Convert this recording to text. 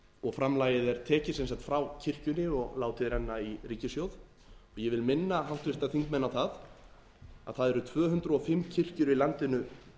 og framlagið er tekið sem sagt frá kirkjunni og látið renna í ríkissjóð ég vil minna háttvirtir þingmenn á það að það eru tvö hundruð og fimm kirkjur í landinu